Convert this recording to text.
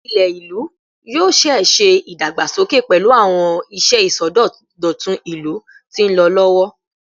Ilẹ ilu yoo ṣee ṣe idagbasoke pẹlu awọn iṣẹ isọdọtun ilu ti nlọ lọwọ